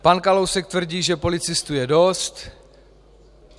Pan Kalousek tvrdí, že policistů je dost.